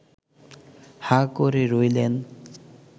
হাঁ করে রইলেন